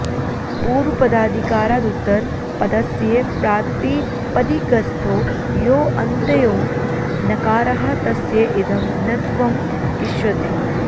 पूर्वपदाधिकारादुत्तरपदस्य प्रातिपदिकस्थो यो ऽन्त्यो नकारः तस्य इदं णत्वम् इष्यति